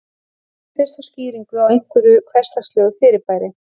Lítum fyrst á skýringu á einhverju hversdagslegu fyrirbæri.